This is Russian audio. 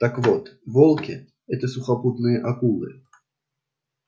так вот волки это сухопутные акулы